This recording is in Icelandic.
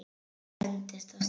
Og ég hentist af stað.